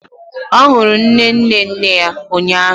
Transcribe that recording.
Ọ hụrụ nne nne nne ya ụnyaahụ